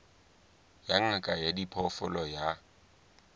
ya ngaka ya diphoofolo ya